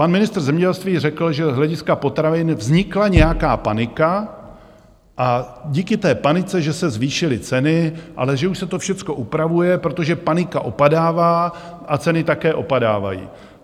Pan ministr zemědělství řekl, že z hlediska potravin vznikla nějaká panika a díky té panice že se zvýšily ceny, ale že už se to všecko upravuje, protože panika opadává a ceny také opadávají.